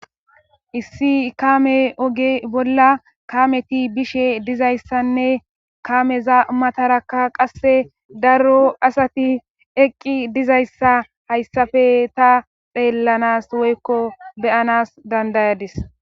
Issi kaame oge bolla kameti bishe dizayssanne kameza matarakka qasse daro asati eqqi dizayssa hayssafe ta xeellanas woykko beyanas dandayadis.